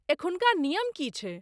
एखुनका नियम की छै?